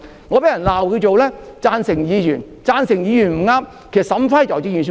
我被人指責為"贊成議員"，"贊成議員"就是處事不當。